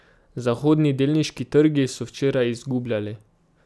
Zahodni delniški trgi so včeraj izgubljali.